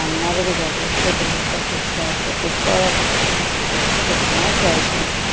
ସାମ୍ନାରେ ବି ଗାଡ଼ି ଅଛି ଗୋଟେ ଲୋକ ସେଠି ଠିଆ ହୋଇଛି ଉପରେ ଘରେ ସେଠି ବି ଲୋକମାନେ ଠିଆ ହେଇଛନ୍ତି।